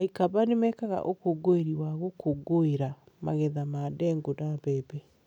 Aikamba nĩ mekaga ũkũngũĩri wa gũkũngũĩra magetha ma ndengũ na mbembe.